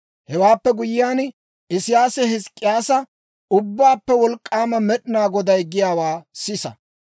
Hewaappe guyyiyaan, Isiyaasi Hizk'k'iyyaasa, «Ubbaappe Wolk'k'aama Med'inaa Goday giyaawaa sisa.